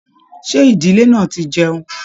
Ṣe ìdílé náà tí jẹun?